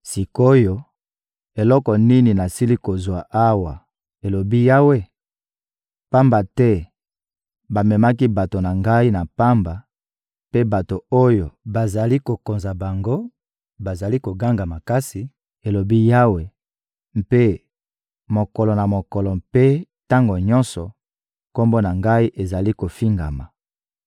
Sik’oyo, eloko nini nasili kozwa awa,» elobi Yawe? «Pamba te bamemaki bato na Ngai na pamba, mpe bato oyo bazali kokonza bango bazali koganga makasi,» elobi Yawe, «mpe, mokolo na mokolo mpe tango nyonso, Kombo na Ngai ezali kofingama.